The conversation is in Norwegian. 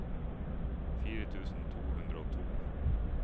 fire tusen to hundre og to